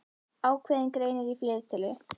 Ákveðinn greinir í fleirtölu.